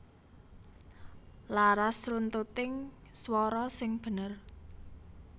Laras runtuting swara sing bener